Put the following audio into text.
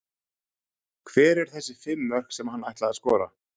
Hver eru þessi fimm mörk sem hann ætlaði að skora?